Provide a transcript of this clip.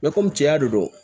komi cɛya de don